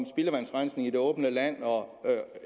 spildevandsrensning i det åbne land